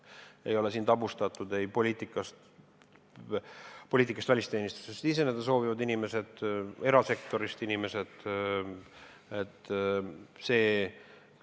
Ei ole tabustatud ei poliitikast välisteenistusse siseneda soovivad inimesed ega erasektorist tulevad inimesed.